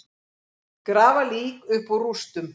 Grafa lík upp úr rústum